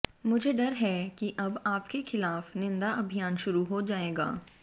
मुझे डर है कि अब आपके खिलाफ निंदा अभियान शुरू हो जाएगा